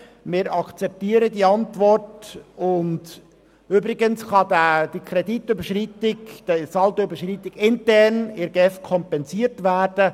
Wir akzeptieren diese Antwort, und übrigens kann diese Saldoüberschreitung GEF-intern kompensiert werden.